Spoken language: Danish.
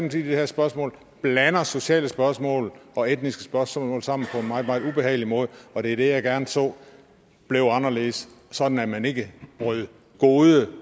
i det her spørgsmål blander sociale spørgsmål og etniske spørgsmål sammen på en meget meget ubehagelig måde og det er det jeg gerne så blev anderledes sådan at man ikke bryder gode